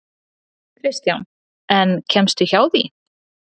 Kristján: En kemstu hjá því?